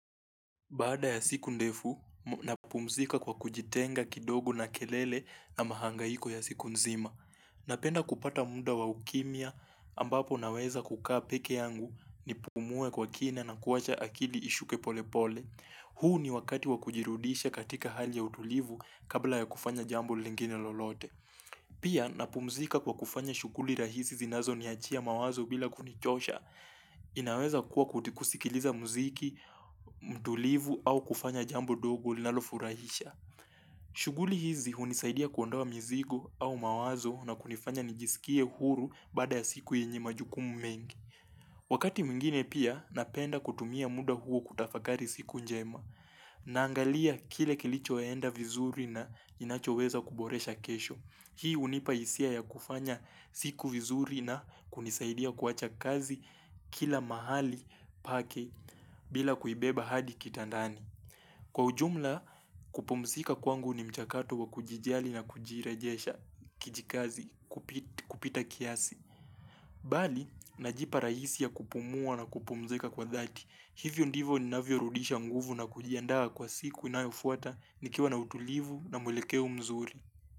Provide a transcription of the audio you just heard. Baada ya siku ndefu, napumzika kwa kujitenga kidogo na kelele na mahangaiko ya siku nzima. Napenda kupata muda wa ukimya ambapo naweza kukaa peke yangu nipumue kwa kina na kuwacha akili ishuke pole pole. Huu ni wakati wakujirudisha katika hali ya utulivu kabla ya kufanya jambo lingine lolote. Pia napumzika kwa kufanya shughuli rahisi zinazo niachia mawazo bila kunichosha. Inaweza kuwa kuti kusikiliza mziki, mtulivu au kufanya jambo dogo linalofurahisha shughuli hizi hunisaidia kuondoa mizigo au mawazo na kunifanya nijisikie huru baada ya siku yenye majukumu mengi Wakati mingine pia napenda kutumia muda huo kutafakari siku njema Naangalia kile kilicho enda vizuri na kiinacho weza kuboresha kesho Hii unipa isia ya kufanya siku vizuri na kunisaidia kuwacha kazi kila mahali pake bila kuibeba hadi kitandani. Kwa ujumla kupumzika kwangu ni mchakato wa kujijali na kujirejesha kijikazi kupita kiasi. Bali, najipa rahisi ya kupumua na kupumzika kwa dhati. Hivyo ndivo ninavyo rudisha nguvu na kujiandaa kwa siku inayofuata nikiwa na utulivu na mwelekeo mzuri.